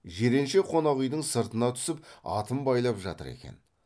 жиренше қонақ үйдің сыртына түсіп атын байлап жатыр екен